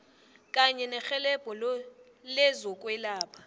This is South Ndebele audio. kanye nerhelebho lezokwelapha